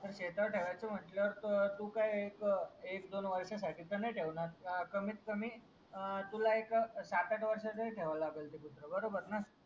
तर शेता वर ठेवायच म्हटल्यावर तू काय एक एक दोन वर्ष साथी तर नाही ठेवणार कमीत कमी अं तुला एक सात आठ वर्ष तरी ठेवा लागेल तित बरोबर ना